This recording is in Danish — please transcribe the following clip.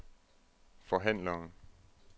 forhandler